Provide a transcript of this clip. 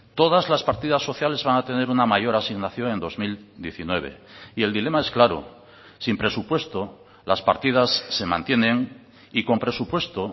todas las partidas sociales van a tener una mayor asignación en dos mil diecinueve y el dilema es claro sin presupuesto las partidas se mantienen y con presupuesto